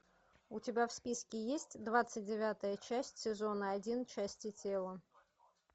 у тебя в списке есть двадцать девятая часть сезона один части тела